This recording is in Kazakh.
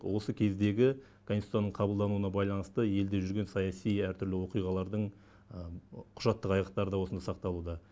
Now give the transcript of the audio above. осы кездегі конституцияның қабылдануына байланысты елде жүрген саяси әртүрлі оқиғалардың құжаттық айғақтары да осында сақталуда